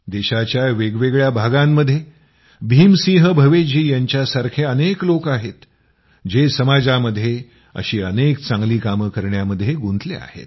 देशाच्या वेगवेगळ्या भागामध्ये भीम सिंह भवेश जीं सारखे अनेक लोक आहेत जे समाजामध्ये अशी अनेक चांगली कामं करण्यामध्ये गुंतली आहेत